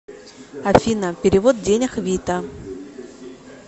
афина перевод денег вита